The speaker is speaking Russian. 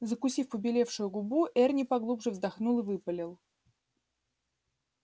закусив побелевшую губу эрни поглубже вздохнул и выпалил